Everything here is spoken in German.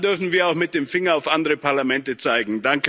Dann dürfen wir auch mit dem Finger auf andere Parlamente zeigen.